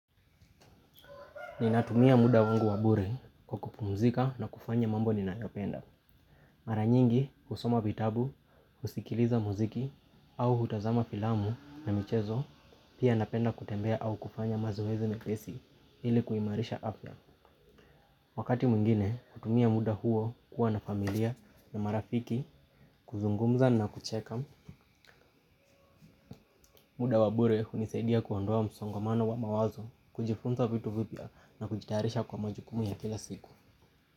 Ninatumia muda wangu wa bure kwa kupumzika na kufanya mambo ninayopenda. Mara nyingi husoma vitabu, husikiliza muziki au hutazama filamu na michezo. Pia napenda kutembea au kufanya mazoezi mepesi ili kuimarisha afya. Wakati mwingine hutumia muda huo kuwa na familia na marafiki kuzungumza na kucheka. Muda wa bure hunisaidia kuondoa msongamano wa mawazo kujifunza vitu vipya na kujitayarisha kwa majukumu ya kila siku.